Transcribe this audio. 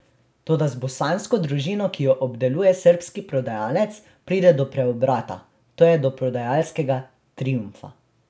Toda z bosansko družino, ki jo obdeluje srbski prodajalec, pride do preobrata, to je do prodajalskega triumfa.